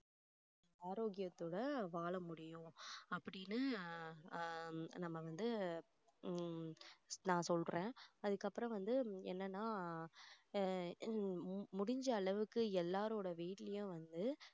ஆரோக்கியத்தோட வாழ முடியும் அப்படின்னு ஆஹ் நம்ம வந்து ஹம் நான் சொல்றேன் அதுக்கப்புறம் வந்து என்னன்னா அஹ் ஹம் முடிஞ்ச அளவுக்கு எல்லாருடைய வீட்டிலேயும் வந்து